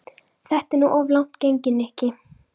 Þetta er nú of langt gengið, Nikki.